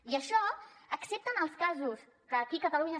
i això excepte en els casos que aquí catalunya